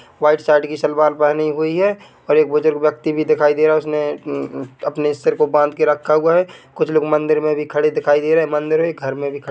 white shirt की सलवार पहनी हुई है और एक बुजुर्ग व्यक्ति भी दिखाई दे रहा है उसमे अपने सिर को बांधकर रखा हुआ है कुछ लोग मंदिर मे भी खड़े दिखाई दे रहे हैं मंदिर हैं घर मे भी खड़े दी--